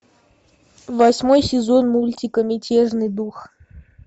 восьмой сезон мультика мятежный дух